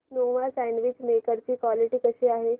Nova sandwich maker ची quality कशी आहे